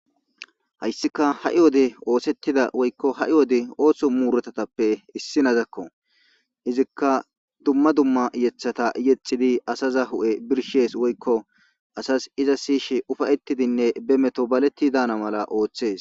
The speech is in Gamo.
hayssika ha7i wode oosettida woykko ha7i wode oohso muuretatappe issi nazakko izikka dumma dumma yethata yexidi asaza hu7e birshees woykko asas iza siyishe ufayettidinne be meto baletti daana mala ooththees